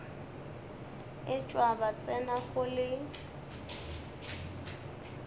etšwa ba tsena go le